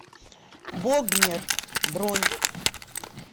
богнер бронь